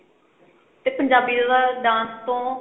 ਤੇ ਪੰਜਾਬੀ ਜਿਆਦਾ dance ਤੋਂ